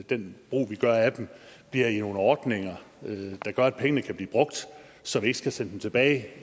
den brug vi gør af dem bliver i nogle ordninger der gør at pengene kan blive brugt så vi ikke skal sende dem tilbage